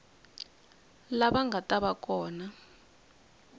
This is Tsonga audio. lava nga ta va kona